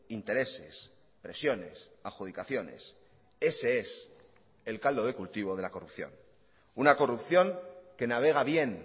intereses presiones adjudicaciones ese es el caldo de cultivo de la corrupción una corrupción que navega bien